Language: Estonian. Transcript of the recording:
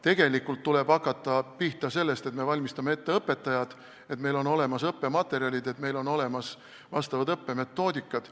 Tegelikult tuleb hakata pihta sellest, et me valmistame ette õpetajad, et meil on olemas õppematerjalid, et meil on olemas vastavad õppemetoodikad.